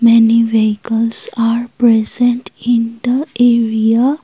many vehicles are present in the area.